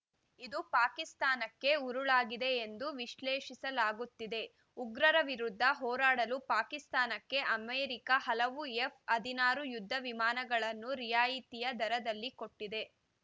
ಇದು ಪಾಕಿಸ್ತಾನಕ್ಕೆ ಉರುಳಾಗಿದೆ ಎಂದು ವಿಶ್ಲೇಷಿಸಲಾಗುತ್ತಿದೆ ಉಗ್ರರ ವಿರುದ್ಧ ಹೋರಾಡಲು ಪಾಕಿಸ್ತಾನಕ್ಕೆ ಅಮೆರಿಕ ಹಲವು ಎಫ್‌ ಹದಿನಾರು ಯುದ್ಧ ವಿಮಾನಗಳನ್ನು ರಿಯಾಯಿತಿ ದರದಲ್ಲಿ ಕೊಟ್ಟಿದೆ